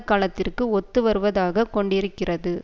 காலத்திற்கு ஒத்துவருவதாக கொண்டிருக்கிறது